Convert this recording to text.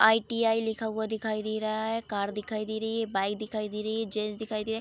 ITI. लिखा हुआ दिखाई दे रहा है कार दिखाई दे रही है बाइक दिखाई दे रही है जेंट्स दिखाई दे --